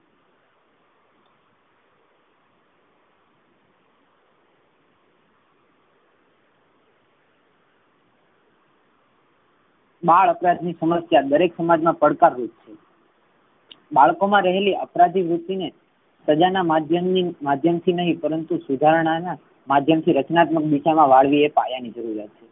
બાળ અપરાધ ની સમસ્યા દરેક સમાજ મા પડતા રૂપ છે. બાળકો મા રહેલી અપરાધ વૃત્તિ ને સજા ના માધ્યમ થી નહિ પરંતુ સુધારણા ના માધ્યમ થી રચન્ત્મક દિશા મા વાળવી એવી કાયા ની જરૂરત છે.